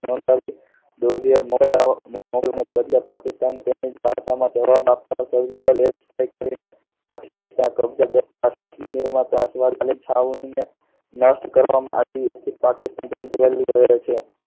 મૌલાઓ, પાકિસ્તાનમાં બેસીને જવાબ આપતા કે surgical strike નષ્ટ કરવામાંથી પાકિસ્તાન